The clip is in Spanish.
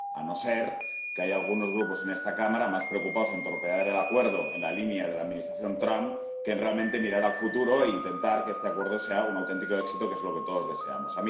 A no ser que haya algunos grupos en esta Cámara más preocupados por torpedear el Acuerdo, en la línea de la Administración Trump, que por realmente mirar al futuro e intentar que este Acuerdo sea un auténtico éxito, que es lo que todos deseamos.